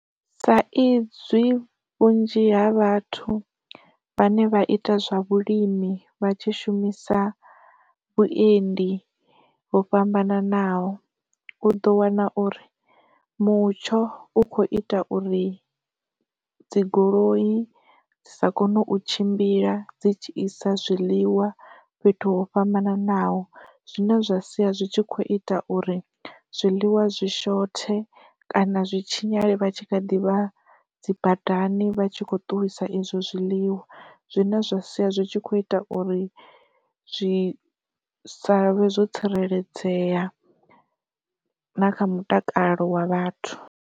Sa izwi vhunzhi ha vhathu vhane vha ita zwa vhulimi vha tshi shumisa vhuendi ho fhambananaho, u ḓo wana uri mutsho u kho ita uri dzi goloyi dzi sa kone u tshimbila dzi tshi isa zwiḽiwa fhethu ho fhambananaho, zwine zwa sia zwi tshi kho ita uri zwiḽiwa zwi shothe kana zwi tshinyale vha kha ḓivha dzi badani vha tshi kho ṱuwisa izwo zwiḽiwa. Zwine zwa sia zwi tshi kho ita uri zwi savhe zwo tsireledzea na kha mutakalo wa vhathu.